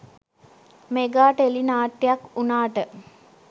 mega tele නාට්‍යයක් වුණාට